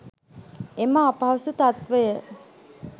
එම අපහසු තත්ත්වය,